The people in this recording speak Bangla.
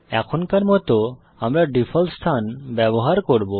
এখনকার জন্য আমরা ডিফল্ট স্থান ব্যবহার করব